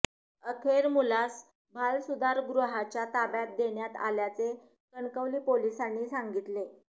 अखेर मुलास बालसुधारगृहाच्या ताब्यात देण्यात आल्याचे कणकवली पोलिसांनी सांगितले